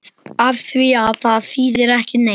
Afþvíað það þýðir ekki neitt.